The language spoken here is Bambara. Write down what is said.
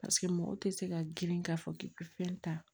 Paseke mɔgɔw tɛ se ka girin k'a fɔ k'i bɛ fɛn ta